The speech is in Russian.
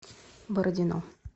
бородино